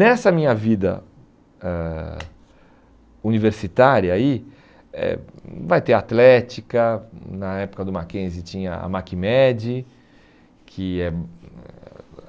Nessa minha vida ãh universitária aí, eh vai ter atlética, hum na época do Mackenzie tinha a Macmed, que é hum